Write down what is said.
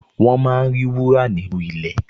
Wọ́n máa ń rí wúrà nínú ilẹ̀